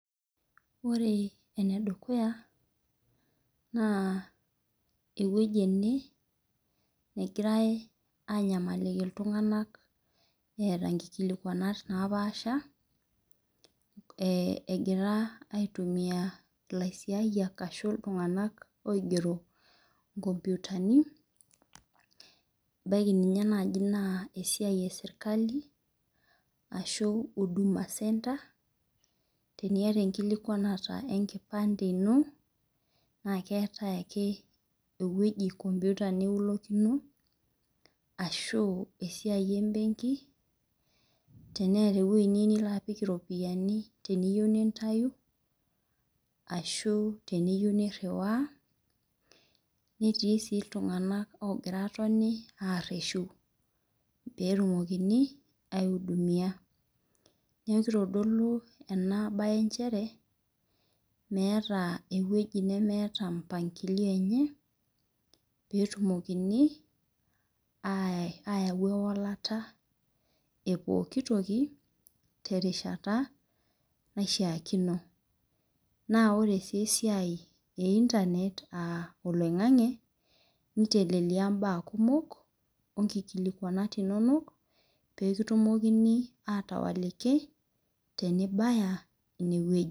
Ore enedukuya na ewueji ene nagira anyamalilki ltunganak eeta nkilikuanat napaasha e gira aitumia laisiayiak ashu ltunganak oigero nkomputani ebaki nai na esiai eserkali ashu huduma centre teniata enkilikuanata enkipande jno na keetae ake ewoi enkomputa niulokini ashu esiai embenki ashu teneeta ewoi nilobapik iropiyiani teneeta ewoi nintau ashu teniyieu niriwaa netii si ltunganak ogira atoni areshu petumokini aiudimia nakitodolu enabae nchere meetw ewoi nemeeta mpangilio enye peitumokinj ayau ewolata epuoiki toki terishata naishaakino naore si esiai e internet aa oloingangi nitelelia mbaa kumok onkitelelelia inonok petumokini atooliki tenibaya ineweuji.